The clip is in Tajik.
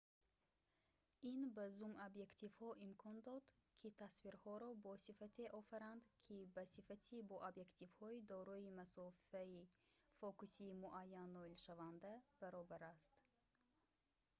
ин ба зум-объективҳо имкон дод ки тасвирҳоро бо сифате офаранд ки ба сифати бо объективҳои дорои масофаи фокусии муайян ноилшаванда баробар аст